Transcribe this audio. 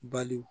Bali